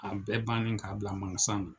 A bɛɛ bannen ka bila makasan na.